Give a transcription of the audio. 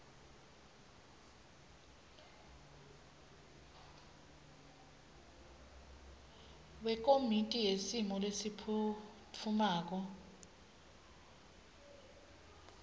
wekomiti yesimo lesiphutfumako